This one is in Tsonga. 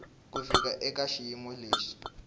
ku fika eka xiyimo lexi